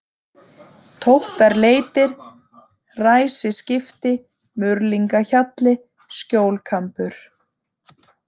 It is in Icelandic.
Tóttarleiti, Ræsisskipti, Murlingahjalli, Skjólkambur